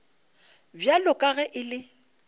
bjalo ka ge e le